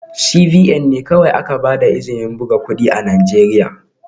CBN ne kawai aka ba da izinin buga kudin Najeriya